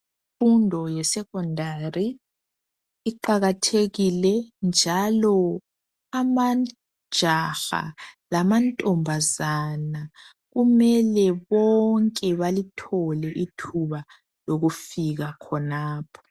Imfundo yesecondary iqakathekile, njalo amajaha lamantombazana, kumele bonke balithole ithuba lokufika khonapho.